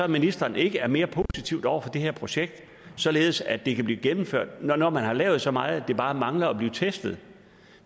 ministeren ikke er mere positiv over for det her projekt således at det kan blive gennemført når når man har lavet så meget at det bare mangler at blive testet